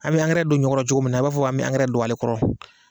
A bɛ angɛrɛ don ɲɔ kɔrɔ cogo min na, i b'a fɔ an bɛ angɛrɛ don ale kɔrɔ.